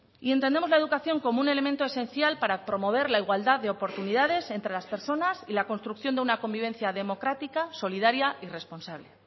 y entendemos la educación como un elemento esencial para promover la igualdad de oportunidades entre las personas y la construcción de una convivencia democrática solidaria y responsable